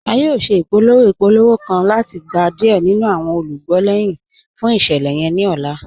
À yóò ṣẹ̀ ipòlówò ipòlówò kàn láti gbà diẹ̀ nínu awọn olúgbọ̀ lẹ́hin fún iṣẹ̀lẹ̀ yẹn ni ọ̀là.